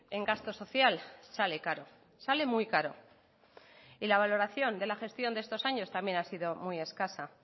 en gasto social sale caro sale muy caro y la valoración de la gestión de estos años también ha sido muy escasa